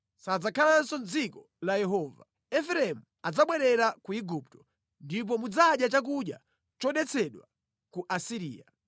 Sadzakhalanso mʼdziko la Yehova. Efereimu adzabwerera ku Igupto ndipo mudzadya chakudya chodetsedwa ku Asiriya.